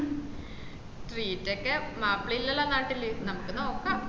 മ്മ് treat ഒക്കെ മാപ്പിള ഇല്ലല്ലോ നാട്ടില് നമക്ക് നോക്ക